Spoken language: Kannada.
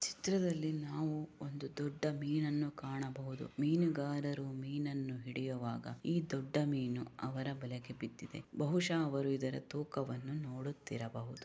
ಈ ಚಿತ್ರದಲ್ಲಿ ನಾವು ಒಂದು ದೊಡ್ಡ ಮೀನನ್ನು ಕಾಣಬಹುದು ಮೀನುಗಾರರು ಮೀನನ್ನು ಹಿಡಿಯುವಾಗ ಈ ದೊಡ್ಡ ಮೀನು ಅವರ ಬಲೆಗೆ ಬಿದ್ದಿದೆ ಬಹುಶಃ ಅವರು ಇದರ ತೂಕವನ್ನು ನೋಡುತ್ತಿರಬಹುದು.